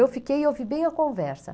Eu fiquei e ouvi bem a conversa.